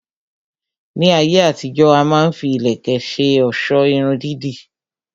Ní ayé àtijó, a má ń fi ìlẹ̀kẹ̀ ṣe ọ̀sọ́ Irun dídì